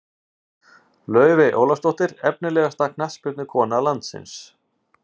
Laufey Ólafsdóttir Efnilegasta knattspyrnukona landsins?